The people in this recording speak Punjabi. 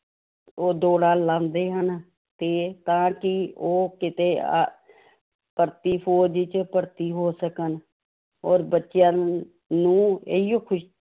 ਉਹ ਦੋੜ੍ਹਾਂ ਲਾਉਂਦੇ ਹਨ ਤੇ ਤਾਂ ਕਿ ਉਹ ਕਿਤੇ ਅਹ ਭਰਤੀ ਫ਼ੌਜ਼ ਚ ਭਰਤੀ ਹੋ ਸਕਣ, ਔਰ ਬੱਚਿਆਂ ਨੂੰ ਨੂੰ ਇਹੀਓ ਖ਼ੁਸ਼